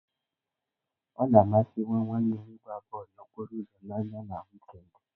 Ọ na amasị nwa nwanne m ịgba bọọlụ n'okporo ụzọ n'anya na wịkend.